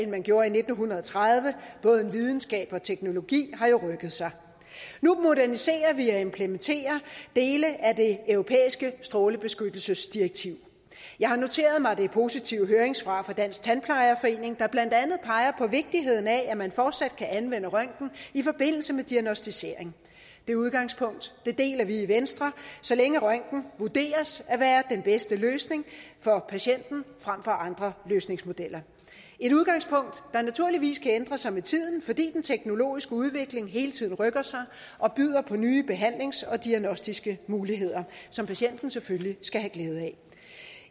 man gjorde i nitten tredive både videnskab og teknologi har jo rykket sig nu moderniserer vi og implementerer dele af det europæiske strålebeskyttelsesdirektiv jeg har noteret mig det positive høringssvar fra dansk tandplejerforening der blandt andet peger på vigtigheden af at man fortsat kan anvende røntgen i forbindelse med diagnosticering det udgangspunkt deler vi i venstre så længe røntgen vurderes at være den bedste løsning for patienten frem for andre løsningsmodeller et udgangspunkt der naturligvis kan ændre sig med tiden fordi den teknologiske udvikling hele tiden rykker sig og byder på nye behandlings og diagnostiske muligheder som patienten selvfølgelig skal have glæde af